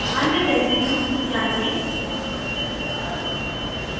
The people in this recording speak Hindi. अन्य रेसीड्यूज़ जाँचें